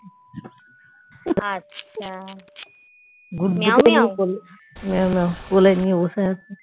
মেও মেও কোলে নিয়ে বসে আছি